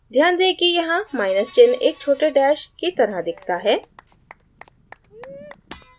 ध्यान दें कि यहाँ माइनस चिन्ह एक छोटे dash की तरह दिखता है